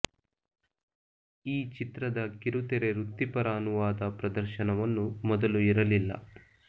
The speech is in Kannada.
ಈ ಚಿತ್ರದ ಕಿರುತೆರೆ ವೃತ್ತಿಪರ ಅನುವಾದ ಪ್ರದರ್ಶನವನ್ನು ಮೊದಲು ಇರಲಿಲ್ಲ